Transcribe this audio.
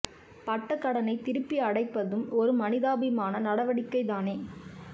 பட்ட கடனை திருப்பி அடைப்பதும் ஒரு மனிதாபிமான நடவடிக்கை தானே